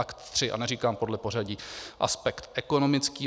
Ad 3, a neříkám podle pořadí, aspekt ekonomický.